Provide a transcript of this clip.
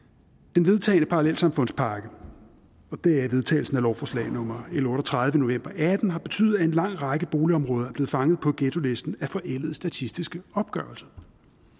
den vedtagne parallelsamfundspakke og det er vedtagelsen af lovforslag nummer l otte og tredive i november og atten har betydet at en lang række boligområder er blevet fanget på ghettolisten af forældede statistiske opgørelser